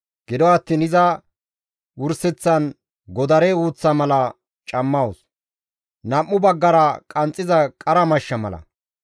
Gido attiin iza wurseththan godare uuththa mala cammawus; nam7u baggara qanxxiza qara mashsha mala.